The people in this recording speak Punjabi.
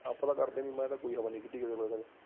ਆਪਾਂ ਤਾਂ ਕਰਦੇ ਨੀ ਮੈਂ ਤਾਂ ਕੋਈ ਨੀ ਹਵਾ ਕੀਤੀ ਕਿਸੇ ਮਗਰ